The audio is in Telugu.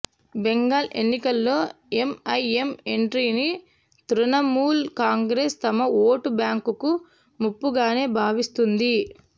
బెంగాల్ ఎన్నికల్లో ఎంఐఎం ఎంట్రీని తృణమూల్ కాంగ్రెస్ తమ ఓటు బ్యాంకుకు ముప్పుగానే భావిస్తోంది